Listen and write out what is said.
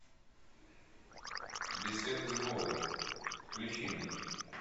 беседы с богом включи мне